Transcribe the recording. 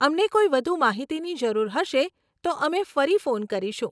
અમને કોઈ વધુ માહિતીની જરૂર હશે તો અમે ફરી ફોન કરીશું.